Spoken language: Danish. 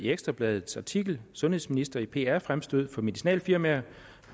i ekstra bladets artikel sundhedsminister i pr fremstød for medicinalfirmaer